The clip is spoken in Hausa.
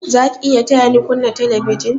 Za ki iya taya ni kunna telebijin?